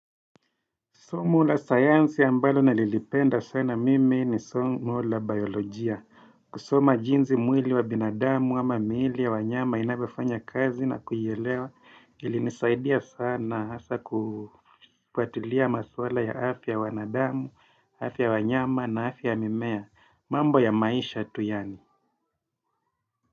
Somo la sayansi ambalo nalilipenda sana mimi ni somo la biolojia. Kusoma jinsi mwili wa binadamu ama miili ya wanyama inavyofanya kazi na kuielewa. Ilinisaidia sana hasa kufuatulia maswala ya afya wanadamu, afya wanyama na afya ya mimea. Mambo ya maisha tu yaani.